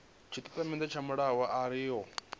tshitatamennde tsha mbulungo arali yo